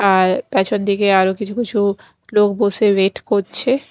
আর পেছনদিকে আরও কিছু কিছু লোক বসে ওয়েট করছে।